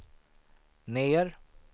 ner